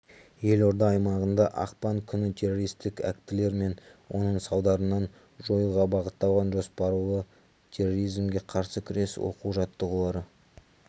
елорда аймағында ақпан күні террористік актілер мен оның салдарларын жоюға бағытталған жоспарлы терроризмге қарсы күрес оқу-жаттығулары